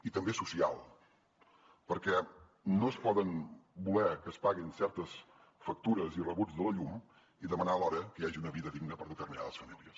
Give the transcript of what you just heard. i també social perquè no es pot voler que es paguin certes factures i rebuts de la llum i demanar alhora que hi hagi una vida digna per a determinades famílies